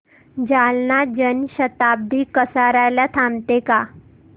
जालना जन शताब्दी कसार्याला थांबते का